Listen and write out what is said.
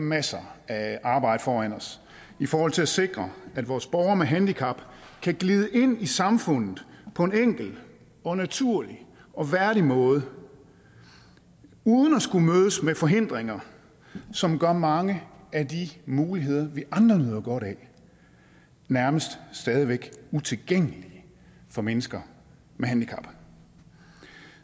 masser af arbejde foran os i forhold til at sikre at vores borgere med handicap kan glide ind i samfundet på en enkel og naturlig og værdig måde uden at skulle mødes med forhindringer som gør mange af de muligheder vi andre nyder godt af nærmest stadig væk utilgængelige for mennesker med handicap